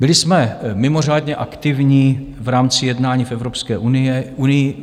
Byli jsme mimořádně aktivní v rámci jednání v Evropské unii.